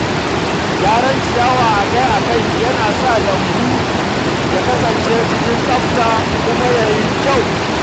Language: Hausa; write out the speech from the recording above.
Gyaran ciyawa akai-akai yana sa lambu ya kasance cikin tsafta kuma ya yi kyau.